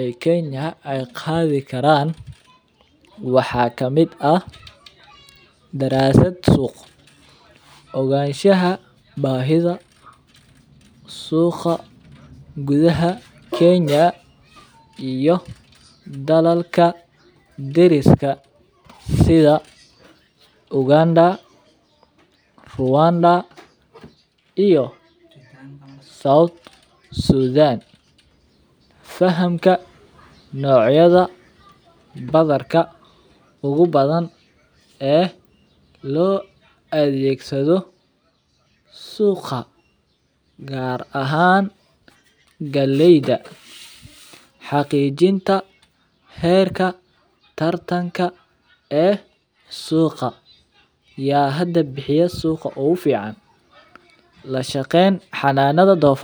e Kenya ay qadhi karan waxa kamid ah darasad suuq oganshaha bahidha suuqa gudaha Kenya iyo dalalka dariska sida Uganda, Ruwanda iyo South Sudaan. Fahamka nocayada badarka ugu badan e lo adhegasado suuqa gar ahaan galeyga xaqiijinta xerka tartanka e suuqa ya hada bixiya suuqa ugu fican lashaqeyn xanada.